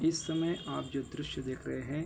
इस समय आप जो दृश्य देख रहे हैं।